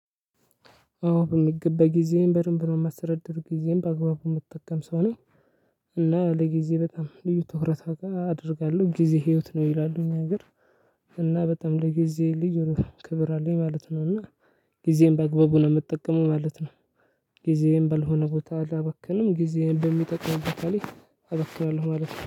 አዎ በሚገባ ጊዜዬን በደንብ ነው የማስተዳድር ጊዜዬን በአግባቡ የምጠቀም ሰው ነኝ። እና ለጊዜ በጣም ልዩ ትኩረት አደርጋለሁ። ጊዜ ህይወት ነው ይላሉ እኛ አገር እና በጣም ለጊዜ ልዩ የሆን ክብር አለኝ ማለት ነው እና ጊዜዬን በአግባቡ ነው የምጠቀመው ማለት ነው። ጊዜዬን ባልሆነ ቦታ አላባክንም። ጊዜዬን በሚጠቅም ቦታ ላይ አባክናለሁ ማለት ነው።